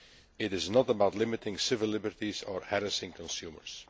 It is not about limiting civil liberties or harassing consumers.